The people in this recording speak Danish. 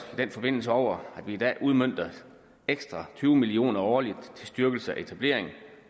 i den forbindelse over at vi i dag udmønter ekstra tyve million kroner årligt til styrkelse af etablerings